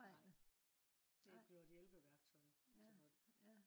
nej det bliver et hjælpeværktøj til folk